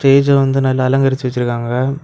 ஸ்டேஜ்ஜ வந்து நல்லா அலங்கரிச்சு வச்சிருக்காங்க.